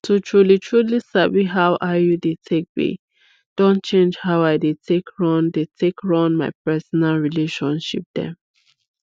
to trulytruly sabi how iud take be don change how i dey take run dey take run my personal relationship dem